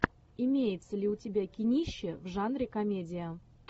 имеется ли у тебя кинище в жанре комедия